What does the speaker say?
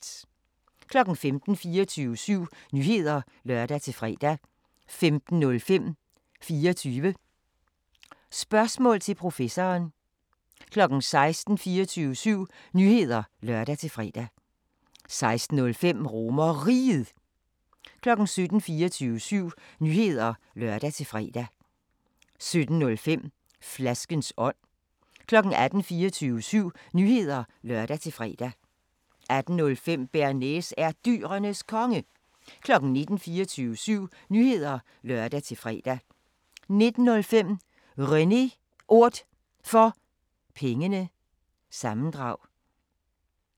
15:00: 24syv Nyheder (lør-fre) 15:05: 24 Spørgsmål til Professoren 16:00: 24syv Nyheder (lør-fre) 16:05: RomerRiget 17:00: 24syv Nyheder (lør-fre) 17:05: Flaskens ånd 18:00: 24syv Nyheder (lør-fre) 18:05: Bearnaise er Dyrenes Konge 19:00: 24syv Nyheder (lør-fre) 19:05: René Ord For Pengene – sammendrag